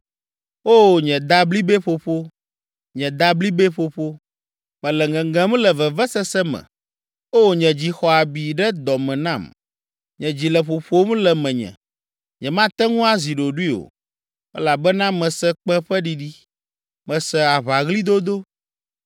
O nye dablibɛƒoƒo, nye dablibɛƒoƒo! Mele ŋeŋem le vevesese me. O nye dzi xɔ abi ɖe dɔ me nam! Nye dzi le ƒoƒom le menye, nyemate ŋu azi ɖoɖoe o, elabena mese kpẽ ƒe ɖiɖi, mese aʋaɣlidodo.